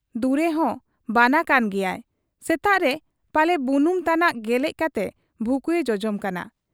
ᱫᱩᱨᱮᱦᱚᱸ ᱵᱟᱱᱟ ᱠᱟᱱ ᱜᱮᱭᱟᱭ ᱾ ᱥᱮᱛᱟᱜᱨᱮ ᱯᱟᱞᱮ ᱵᱩᱱᱩᱢ ᱛᱟᱱᱟᱜ ᱜᱮᱞᱮᱡ ᱠᱟᱛᱮ ᱵᱷᱩᱠᱩᱭᱮ ᱡᱚᱡᱚᱢ ᱠᱟᱱᱟ ᱾